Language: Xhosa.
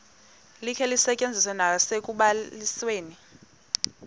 likhe lisetyenziswe nasekubalisweni